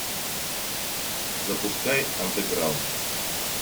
запускай андеграунд